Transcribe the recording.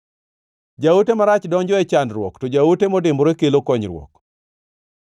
Jaote marach donjo e chandruok, to jaote modimbore kelo konyruok.